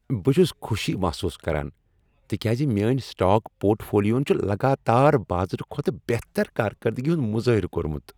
بہٕ چھس خوشی محسوس کران تکیاز میٲنۍ سٹاک پورٹ فولیوہن چھ لگاتار بازرٕ کھوتہٕ بہتر کارکردگی ہُند مظٲہرٕ کۄرمت۔